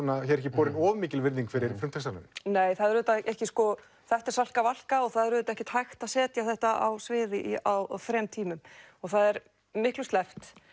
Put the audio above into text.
borin of mikil virðing fyrir frumtextanum nei það er auðvitað ekki sko þetta er Salka Valka og það er auðvitað ekkert hægt að setja þetta á svið á þremur tímum og það er miklu sleppt